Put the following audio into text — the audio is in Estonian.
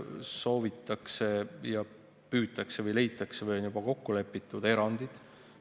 Kas soovitakse ja püütakse või leitakse või on juba kokku lepitud erandid?